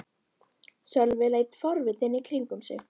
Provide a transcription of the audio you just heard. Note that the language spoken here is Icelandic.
Sölvi leit forvitinn í kringum sig.